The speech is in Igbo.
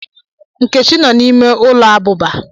Nkechi no n'ime ulo abuba.